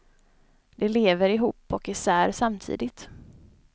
De lever ihop och isär samtidigt.